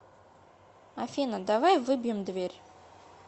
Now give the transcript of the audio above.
афина давай выбьем дверь